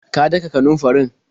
Ka daka kanunfarin?